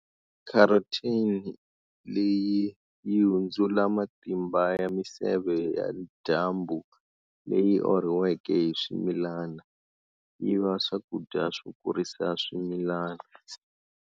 Carotene leyi yi hundzula matimba ya miseve ya dyambu leyi orhiweke hi swimilana, yiva swakudya swo kurisa swimilana.